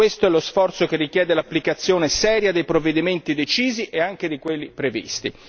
Questo è lo sforzo che richiede l'applicazione seria dei provvedimenti decisi e anche di quelli previsti.